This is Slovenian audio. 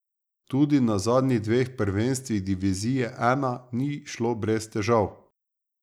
Tudi na zadnjih dveh prvenstvih divizije I ni šlo brez težav.